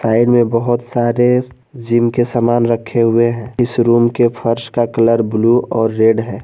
Side में बहुत सारे जिम के सामान रखे हुए हैं इस रूम के फर्श का कलर ब्लू और रेड है।